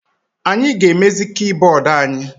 Anyị ga-emezi kibọọdụ anyị.